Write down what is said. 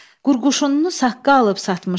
Qurquşununu saqqal alıb satmışam.